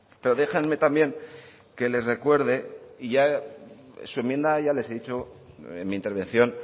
pero déjenme también que les recuerde y su enmienda ya les he dicho en mi intervención